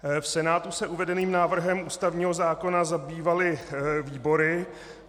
V Senátu se uvedeným návrhem ústavního zákona zabývaly výbory.